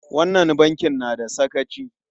Wannan bankin na da sakaci!